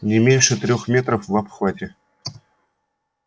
не меньше трёх метров в обхвате